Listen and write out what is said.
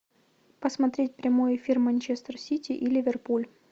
посмотреть прямой эфир манчестер сити и ливерпуль